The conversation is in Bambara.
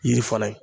Yiri fana ye